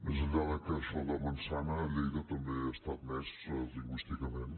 més enllà que això de manzanada també està admès lingüísticament